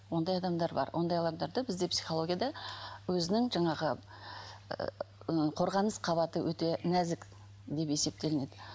ондай адамдар бар ондай адамдарды бізде психологияда өзінің жаңағы қорғаныс қабаты өте нәзік деп есептелінеді